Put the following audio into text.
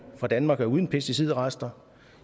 fra danmark er uden pesticidrester